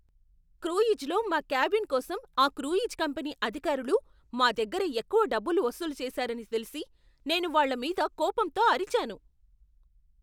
క్రూయిజ్లో మా క్యాబిన్ కోసం ఆ క్రూయిజ్ కంపనీ అధికారులు మా దగ్గర ఎక్కువ డబ్బులు వసూలు చేశారని తెలిసి నేను వాళ్ళ మీద కోపంతో అరిచాను.